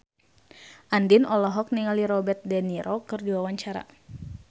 Andien olohok ningali Robert de Niro keur diwawancara